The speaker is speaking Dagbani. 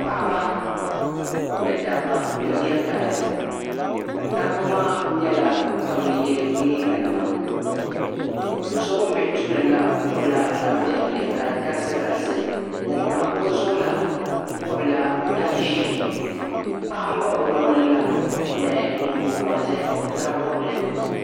paɣ'ba ni dabba n diri dari dabba maa nyɛla ban bɛ ye liiganima do'so ŋuni bɛ tuuli la bɔbila tan'piɛlli ka di garisi garisi ŋuni pa o zuɣu la bɔbila tan ʒee paɣa baɣi o lɔɣili la ni nyingo gɔriti zaɣ'bɔbigu